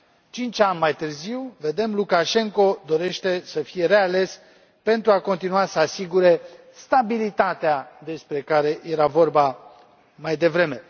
Cinci ani mai târziu, vedem, Lukașenko dorește să fie reales pentru a continua să asigure stabilitatea despre care era vorba mai devreme.